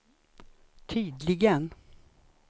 tydligen